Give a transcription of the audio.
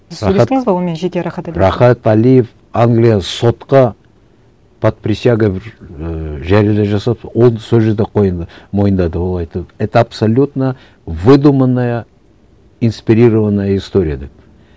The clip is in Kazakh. онымен жеке рахат әлиев англияның сотқа под присягой бір ііі жария жасады ол сол жерде мойындады ол айтты это абсолютно выдуманная инспирированная история деп